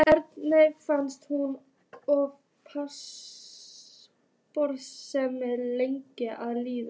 Erni fannst hún ofboðslega lengi að líða.